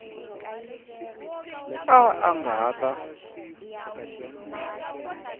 a a nga ha ta